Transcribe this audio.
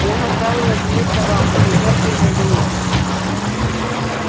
я настаиваю на своих правах как имперский гражданин